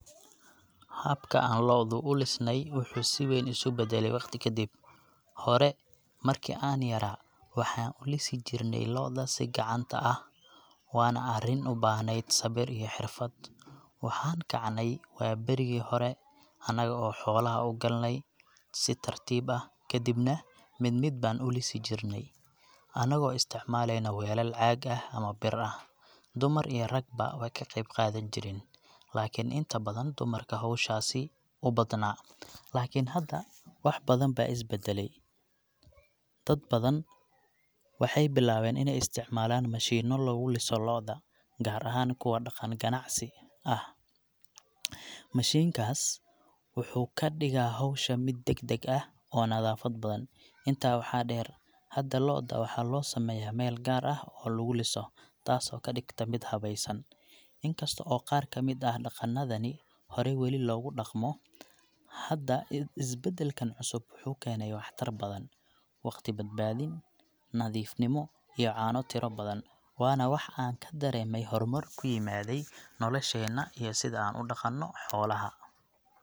Habka aan lo’da u lisnay wuxuu si weyn isu beddelay waqti ka dib. Hore, markii aan yaraa, waxaan u lisi jirnay lo’da si gacanta ah, waana arrin u baahneyd sabir iyo xirfad. Waxaan kacaynay waaberigii hore, annaga oo xoolaha u galaynay si tartiib ah, kadibna mid mid baan u lisi jirnay, annagoo isticmaalayna weelal caag ah ama bir ah. Dumar iyo ragba way ka qayb qaadan jireen, laakiin inta badan dumarkaa howshaasi u badnaa. Laakiin hadda wax badan baa is beddelay. Dad badan waxay bilaabeen in ay isticmaalaan mashiinno lagu liso lo’da, gaar ahaan kuwa dhaqan ganacsi ah. Mashiinkaas wuxuu ka dhigaa howsha mid degdeg ah oo nadaafad badan. Intaa waxaa dheer, hadda lo’da waxaa loo sameeyaa meel gaar ah oo lagu liso, taasoo ka dhigta mid habaysan. Inkasto oo qaar ka mid ah dhaqannadii hore weli lagu dhaqmo, haddana isbeddelkan cusub wuxuu keenay waxtar badan waqti badbaadin, nadiifnimo iyo caano tiro badan. Waana wax aan ka dareemay horumar ku yimiday nolosheena iyo sida aan u dhaqano xoolaha.